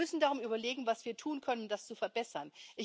Wir müssen darum überlegen, was wir tun können, um das zu verbessern.